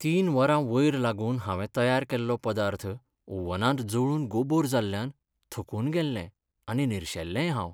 तीन वरां वयर लागून हांवें तयार केल्लो पदार्थ ओव्हनांत जळून गोबोर जाल्ल्यान थकून गेल्लें आनी निरशेल्लेंय हांव.